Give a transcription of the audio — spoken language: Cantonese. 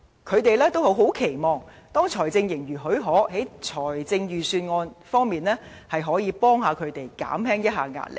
他們很期望，當財政盈餘許可，在財政預算案方面，可以協助他們，讓他們減輕壓力。